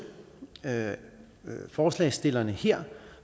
forslagsstillerne her